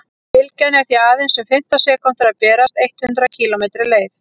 bylgjan er því aðeins um fimmtán sekúndur að berast eitt hundruð kílómetri leið